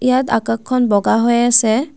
ইয়াত আকাশখন বগা হৈ আছে।